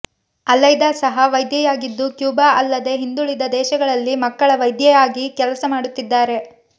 Aleida ಸಹ ವೈದ್ಯೆಯಾಗಿದ್ದು Cuba ಅಲ್ಲದೆ ಹಿಂದುಳಿದ ದೇಶಗಳಲ್ಲಿ ಮಕ್ಕಳ ವೈದ್ಯೆಯಾಗಿ ಕೆಲಸ ಮಾಡುತ್ತಿದ್ದಾರೆ